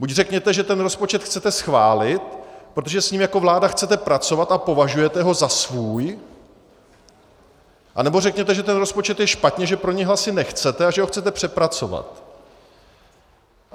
Buď řekněte, že ten rozpočet chcete schválit, protože s ním jako vláda chcete pracovat a považujete ho za svůj, anebo řekněte, že ten rozpočet je špatně, že pro něj hlasy nechcete a že ho chcete přepracovat.